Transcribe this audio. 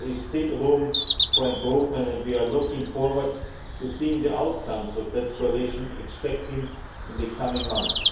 But there is still room for improvement and we are looking forward to seeing the outcomes of that coalition, expected in the coming month.